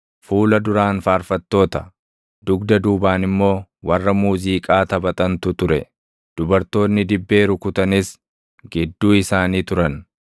Fuula duraan faarfattoota, dugda duubaan immoo warra muuziiqaa taphatantu ture; dubartoonni dibbee rukutanis gidduu isaanii turan.